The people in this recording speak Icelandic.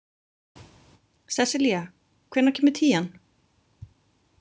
Sessilía, hvenær kemur tían?